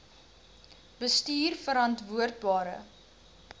bestuurverantwoordbare